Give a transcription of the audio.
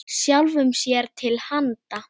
Sjálfum sér til handa.